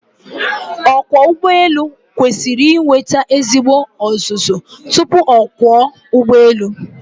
Ọkwọụgbọelu kwesiri inweta ezigbo ọzụzụ tupu ọ kwọọ ụgbọelu.